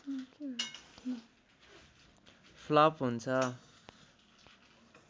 flop हुन्छ